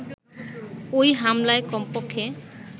ওই হামলায় কমপক্ষে